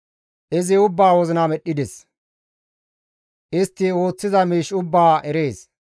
Izi ubbaa wozina medhdhides; istti ooththiza miish ubbaa erees.